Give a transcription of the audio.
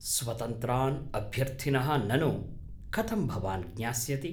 स्वतन्त्रान् अभ्यर्थिनः ननु कथं भवान् ज्ञास्यति ?